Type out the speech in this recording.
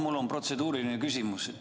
Mul on protseduuriline märkus.